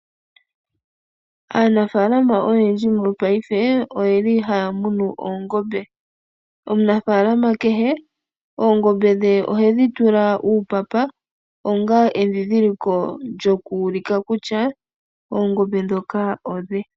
Aanafalama oyendji mopaife oye li haya munu oongombe. Omunafaalama kehe oongombe dhe ohedhi tula uupapa onga edhidhiliko lyoku ulika kutya oongombe ndhoka odhe.